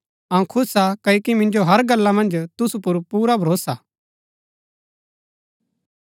अऊँ खुश हा क्ओकि मिन्जो हर गल्ला मन्ज तुसु पुर पुरा भरोसा हा